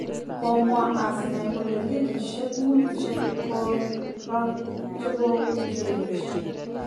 Kimwaa Arsene kole ligisiek muut chegoron kogogewech.